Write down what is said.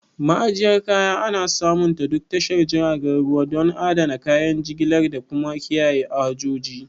Ma'ajiyyar kaya ana samunta duk tashar jiragen ruwa, don adana kayan jigilar da kuma kiyaye hajoji.